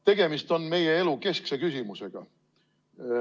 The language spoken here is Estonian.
Tegemist on meie elu keskse küsimusega.